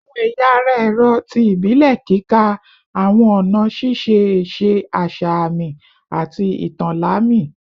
Awọn ẹya ara ẹrọ ti ibile kika awọn ọna šiše ese asa aami ati itan lami